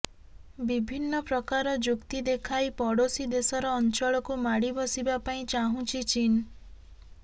ବିଭିନ୍ନ ପ୍ରକାର ଯୁକ୍ତି ଦେଖାଇ ପଡୋଶୀ ଦେଶର ଅଞ୍ଚଳକୁ ମାଡ଼ି ବସିବା ପାଇଁ ଚାହୁଁଛି ଚୀନ